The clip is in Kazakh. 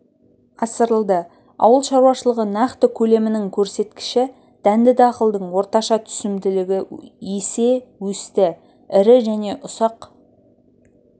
асырылды ауыл шаруашылығы нақты көлемінің көрсеткіші дәнді дақылдың орташа түсімділігі есе өсті ірі және ұсақ